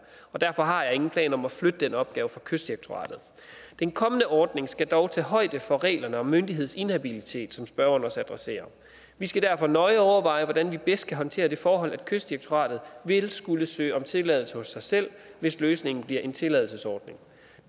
derfor har jeg ingen planer om at flytte den opgave fra kystdirektoratet den kommende ordning skal dog tage højde for reglerne om myndighedsinhabilitet som spørgeren også adresserer vi skal derfor nøje overveje hvordan vi bedst kan håndtere det forhold at kystdirektoratet ville skulle søge om tilladelse hos sig selv hvis løsningen bliver en tilladelsesordning